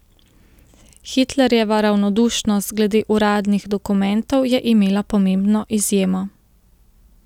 Hitlerjeva ravnodušnost glede uradnih dokumentov je imela pomembno izjemo.